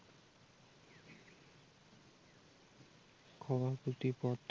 সভাপতি পদ